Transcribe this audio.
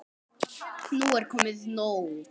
Nú er komið nóg!